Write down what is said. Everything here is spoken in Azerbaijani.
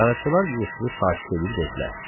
Qaraçılar Yusifi sakit eləyib dedilər: